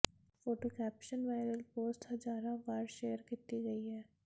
photo caption viral post ਹਜ਼ਾਰਾਂ ਵਾਰ share ਕੀਤੀ ਗਈ ਹੈ